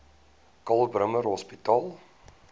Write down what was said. karl bremer hospitaal